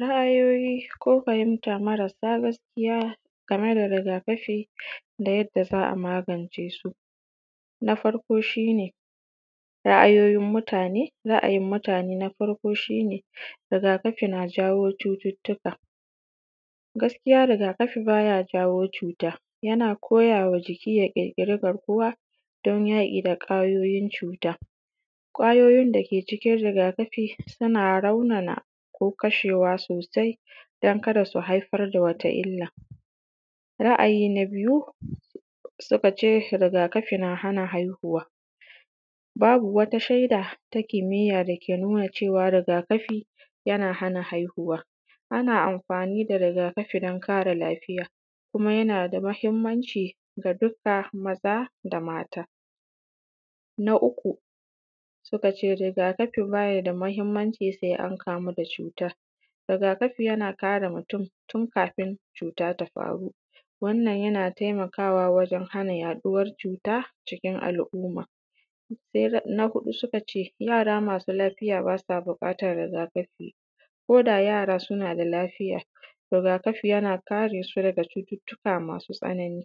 Ra’ayoyi ko fahimta marasa gaskiya game da rigakafi da yadda za a magance su. Na farko shi ne ra’ayoyin mutane ra’ayin mutane na farko shi ne rigakafi na jawo cututuka, gaskiya rigakafi baya jawo cuta yaba koyawa jiki ya kirkiri garkuwa don yaƙi kwayoyin cuta, kwayoyin dake cikin rigakafi suna raunana ko kashewa sosai don kada su haifar da wata illan. Ra’ayi na biyu suka ce rigakafi na hana haihuwa, babu wata shaida ta kimiya dake nuna cewa rigakafi yana hana haihuwa, ana amfani da rigakafi don ƙare lafiya, babu wata shaida ta kimiya dake nuna cewa rigakafi yana hana haihuwa, ana amfani da rigakafi don ƙare lafiya, kuma yana da mahimmanci ga duka maza da mata. Na uku suka ce rigakafi bayi da mahimmanci sai an kamu da cutan, rigakafi yana kare mutum tun kafin cuta ta faru, wannan yana taimakawa wajen hana yaɗuwar cuta cikin al’umma. Na huɗu suka ce yara masu lafiya basa buƙatan rigakafi koda yara suna da lafiya rigakafi yana karesu daga cututuka masu tsanani.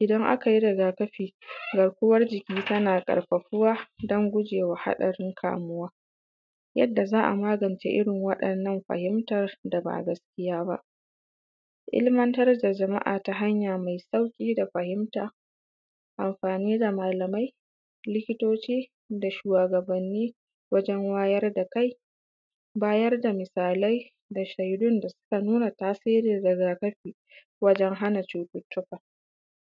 Idan aka yi rigakafi garkuwan jiki tana karfafuwa don gujewa hadarin kamuwa. Yadda za a magance irin wa’innan fahimtar ba gaskiya ba, ilmantar da jama’a ya hanya mai sauƙi da fahimta, amfani da malamai likitoci, da shuwagabani wajen wayar da kai, bayar da misalai da shaidun da suka nuna tasirin rigakafi wajen cututuka.